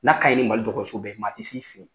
Na'kaɲi nin Mali dɔgɔtɔrɔso bɛɛ ye maa tɛ s'i fɛ yen